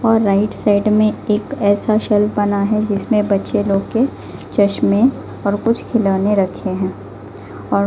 और right side में एक ऐसा शेल्फ बना है जिसमें बच्चे लोग के चश्मे और कुछ खिलौने रखे हैं और--